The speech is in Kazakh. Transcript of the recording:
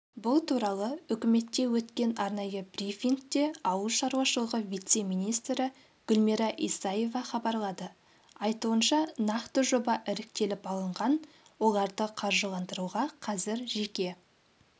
бұл туралы үкіметте өткен арнайы брифингте ауыл шаруашылығы вице-министрі гүлмира исаева хабарлады айтуынша нақты жоба іріктеліп алынған оларды қаржыландыруға қазір жеке